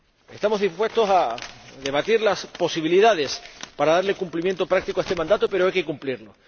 Estamos dispuestos a debatir las posibilidades para darle cumplimiento práctico a este mandato, pero hay que cumplirlo.